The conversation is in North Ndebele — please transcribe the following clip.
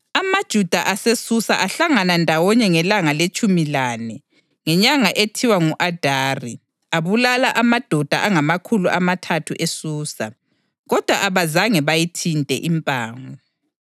AmaJuda aseSusa ahlangana ndawonye ngelanga letshumi lane ngenyanga ethiwa ngu-Adari, abulala amadoda angamakhulu amathathu eSusa, kodwa abazange bayithinte impango.